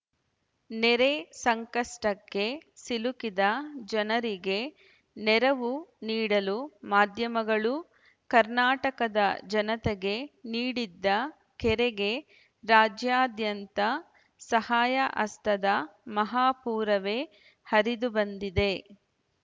ನೆರೆ ಸಂಕಷ್ಟಕ್ಕೆ ಸಿಲುಕಿದ ಜನರಿಗೆ ನೆರವು ನೀಡಲು ಮಾಧ್ಯಮಗಳು ಕರ್ನಾಟಕದ ಜನತೆಗೆ ನೀಡಿದ್ದ ಕರೆಗೆ ರಾಜ್ಯಾದ್ಯಂತ ಸಹಾಯಹಸ್ತದ ಮಹಾಪೂರವೇ ಹರಿದುಬಂದಿದೆ